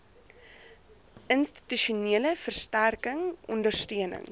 institusionele versterking ondersteuning